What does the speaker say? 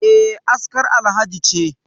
E, askar Alhaji ce